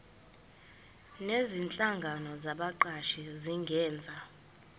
nezinhlangano zabaqashi zingenza